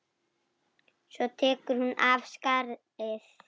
Svo tekur hún af skarið.